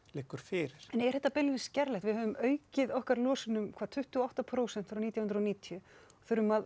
liggur fyrir en er þetta beinlínis gerlegt við höfum aukið okkar losun um tuttugu og átta prósent frá nítján hundruð og níutíu og þurfum að